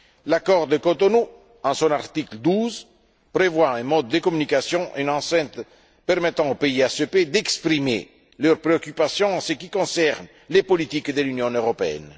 L'accord de Cotonou, à son article 12, prévoit un mode de communication, une enceinte permettant aux pays ACP d'exprimer leurs préoccupations en ce qui concerne les politiques de l'Union européenne.